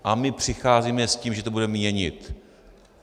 A my přicházíme s tím, že to budeme měnit.